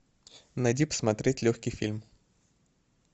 найди посмотреть легкий фильм